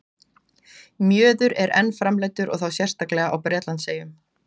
Mjöður er enn framleiddur og þá sérstaklega á Bretlandseyjum.